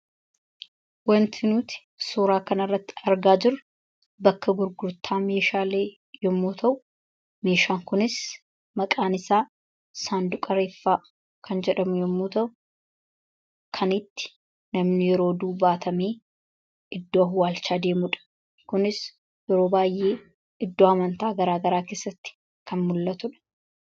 Waanti nuti suuraa kana irratti argaa jirru bakka gurgurtaa meeshaalee yemmuu ta'u; Meeshaan kunis maqaan isaa Saanduqa Reenfaa kan jedhamu yemmuu ta'u; Kan itti namni yeroo du'u baatamee iddoo awwaalchaa deemudha. Kunis yeroo baay'ee iddoo amantaa garaa garaa keessatti kan mul'atudha.